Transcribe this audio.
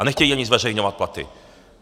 A nechtějí ani zveřejňovat platy.